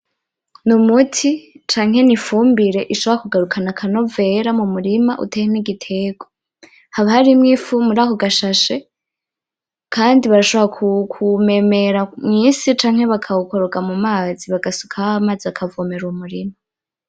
N,umuti canke n’ifumbire ishobora kugarukana akanovera mumurima uteyemwo igiterwa haba harimwo ifu muri ako gashashe kandi barashobora kuwumemera mw,isi canke bakawukoroga mumazi bagasukaho amazi bakavomera uwo murima .